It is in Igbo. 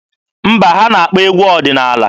Mba, ha na-akpọ egwu ọdịnaala.